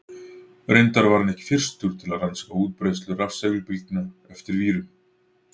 Reyndar var hann ekki fyrstur til að rannsaka útbreiðslu rafsegulbylgna eftir vírum.